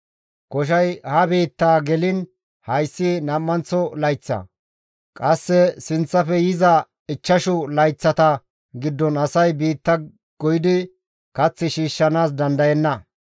Koshay ha biittaa geliin hayssi nam7anththo layththa; qasse sinththafe yiza ichchashu layththata giddon asay biitta goyidi kath shiishshanaas dandayenna.